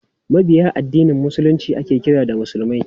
Mabiya addinin Musulunci ake kira musulmai.